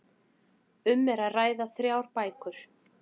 Um er að ræða þrjár bækur